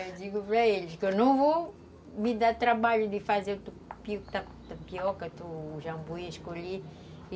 Eu digo para eles que eu não vou me dar trabalho de fazer o tucupi, a tapioca, o jambuí